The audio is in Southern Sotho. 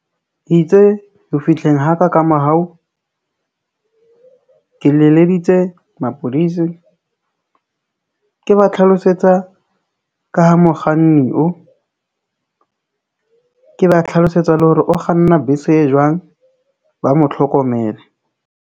Itse ho fihleng ha ka ka morao, ke leleditse mapodisi, ke ba tlhalosetsa ka ha mokganni o ke ba tlhlalosetsa le hore o kganna bese e jwang, ba mo tlhokomele.